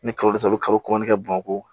Ni kalo saba i bɛ kalo kɔnɔn kɛ bamakɔ